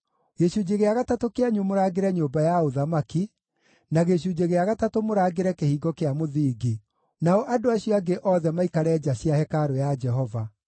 gĩcunjĩ gĩa gatatũ kĩanyu mũrangĩre nyũmba ya ũthamaki, na gĩcunjĩ gĩa gatatũ mũrangĩre kĩhingo kĩa mũthingi, nao andũ acio angĩ othe maikare nja cia hekarũ ya Jehova.